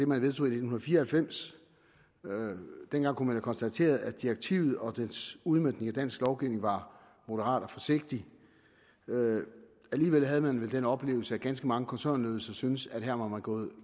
man vedtog i nitten fire og halvfems dengang kunne man konstatere at direktivet og dets udmøntning i dansk lovgivning var moderat og forsigtig alligevel havde man vel den oplevelse at ganske mange koncernledelser syntes at man her var gået